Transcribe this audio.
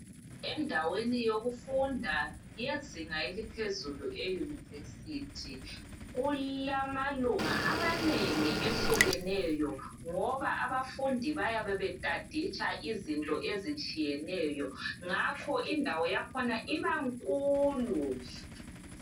endaweni wokufunda yezinga eliphezulu ele univesithi kulama lunga amanengi ayehlukeneyo ngoba abafundi bayabe bestudisha izinto ezihlukeneyo ngakho indawo yakhona ibankulu